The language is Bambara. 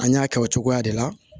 An y'a kɛ o cogoya de la